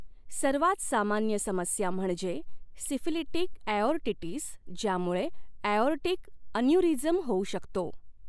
सर्वात सामान्य समस्या म्हणजे सिफिलिटिक ॲओर्टिटिस, ज्यामुळे ॲओर्टिक अन्युरीजम होऊ शकतो.